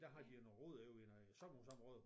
Der har de noget rod over i noget sommerhusområde